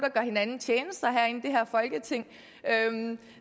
hinanden tjenester herinde i det her folketing